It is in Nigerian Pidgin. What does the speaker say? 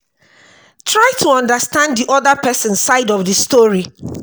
try to understand di oda person side of di story